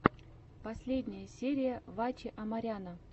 последняя серия ваче амаряна